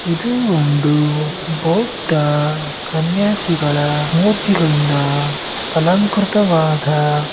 ಇದು ಒಂದು ಬೌದ್ಧ ಸನ್ಯಾಸಿಗಳ ಮೂರ್ತಿಗಳಿಂದ ಅಲಂಕೃತವಾದ